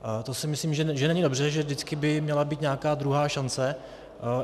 To si myslím, že není dobře, že vždycky by měla být nějaká druhá šance.